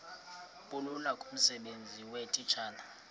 bulula kumsebenzi weetitshala